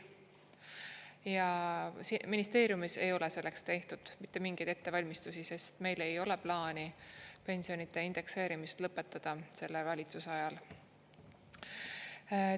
Ja ministeeriumis ei ole selleks tehtud mitte mingeid ettevalmistusi, sest meil ei ole plaani pensionide indekseerimist lõpetada selle valitsuse ajal.